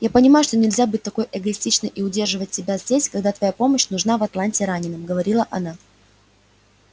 я понимаю что нельзя быть такой эгоистичной и удерживать тебя здесь когда твоя помощь нужна в атланте раненым говорила она